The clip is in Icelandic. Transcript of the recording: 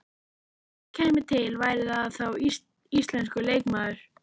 Ef eitthvað kæmi til væri það þá íslenskur leikmaður?